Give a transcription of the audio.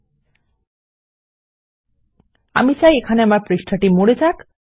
না আমি না আমি চাই আমার পৃষ্ঠাটি মরে যাক160